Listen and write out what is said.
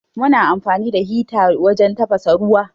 Muna amfani da hita wajen tafasa ruwa.